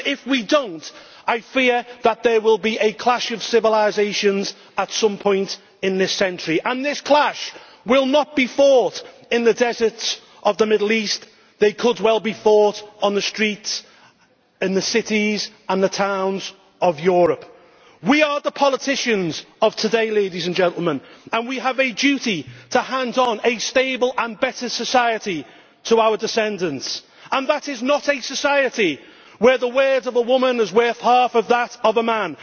Because if we do not, I fear that there will be a clash of civilisations at some point this century, and this clash will not be fought in the deserts of the Middle East, it could well be fought on the streets, in the cities and the towns of Europe. We are the politicians of today, ladies and gentlemen, and we have a duty to hand on a stable and better society to our descendants, and that is not a society where the words of a woman is worth half of that of a man